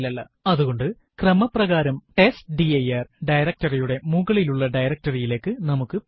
അതുകൊണ്ട് ക്രമപ്രകാരം test dir directory യുടെ മുകളിലുള്ള directory യിലേക്ക് നമുക്ക് പോകാം